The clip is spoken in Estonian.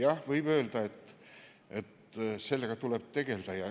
Jah, võib öelda, et sellega tuleb tegelda.